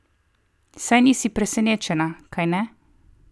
Saj nisi presenečena, kajne?